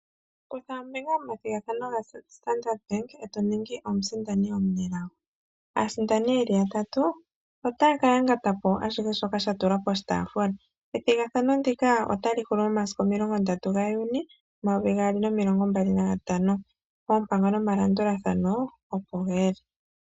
Kutha ombinga momathigathano gaStandard bank e to ningi omusindani omunelago. Aasindani yeli yatatu otaya ka yangata po ashihe shoka sha tulwa poshitaafula. Ethigathano ndika otali hulu momasiku 30 gaJuni 2025, oompango nomalandulathano opo ge li.